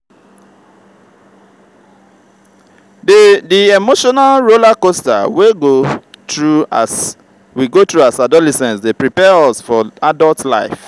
di di emotional rollercoaster we go through as adolescents dey prepare us for adult life.